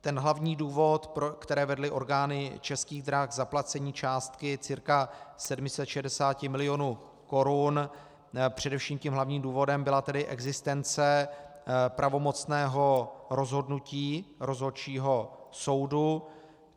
Ten hlavní důvod, který vedl orgány Českých drah k zaplacení částky cca 460 milionů korun, především tím hlavním důvodem byla tedy existence pravomocného rozhodnutí Rozhodčího soudu.